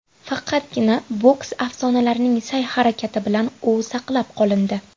Faqatgina boks afsonalarining sa’y-harakati bilan u saqlab qolindi.